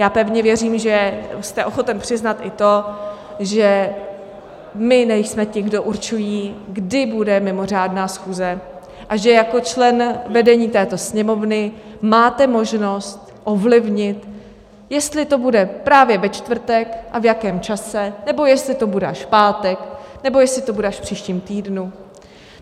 Já pevně věřím, že jste ochoten přiznat i to, že my nejsme ti, kdo určují, kdy bude mimořádná schůze, a že jako člen vedení této Sněmovny máte možnost ovlivnit, jestli to bude právě ve čtvrtek a v jakém čase, nebo jestli to bude až v pátek, nebo jestli to bude až v příštím týdnu.